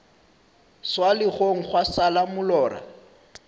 swa legong gwa šala molora